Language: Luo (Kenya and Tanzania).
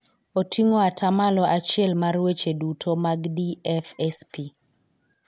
Oting'o ata malo achiel mar weche duto mag DFSP.